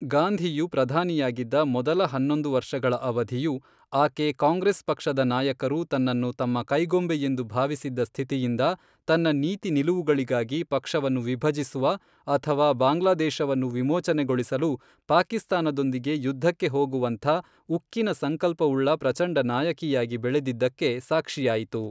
ಗಾಂಧಿಯು ಪ್ರಧಾನಿಯಾಗಿದ್ದ ಮೊದಲ ಹನ್ನೊಂದು ವರ್ಷಗಳ ಅವಧಿಯು, ಆಕೆ ಕಾಂಗ್ರೆಸ್ ಪಕ್ಷದ ನಾಯಕರು ತನ್ನನ್ನು ತಮ್ಮ ಕೈಗೊಂಬೆಯೆಂದು ಭಾವಿಸಿದ್ದ ಸ್ಥಿತಿಯಿಂದ ತನ್ನ ನೀತಿ ನಿಲುವುಗಳಿಗಾಗಿ ಪಕ್ಷವನ್ನು ವಿಭಜಿಸುವ ಅಥವಾ ಬಾಂಗ್ಲಾದೇಶವನ್ನು ವಿಮೋಚನೆಗೊಳಿಸಲು ಪಾಕಿಸ್ತಾನದೊಂದಿಗೆ ಯುದ್ಧಕ್ಕೆ ಹೋಗುವಂಥ ಉಕ್ಕಿನ ಸಂಕಲ್ಪವುಳ್ಳ ಪ್ರಚಂಡ ನಾಯಕಿಯಾಗಿ ಬೆಳೆದಿದ್ದಕ್ಕೆ ಸಾಕ್ಷಿಯಾಯಿತು.